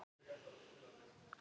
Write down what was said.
Katrín Anna Lund.